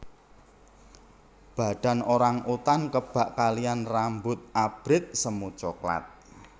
Badan orang utan kebak kaliyan rambut abrit semu coklat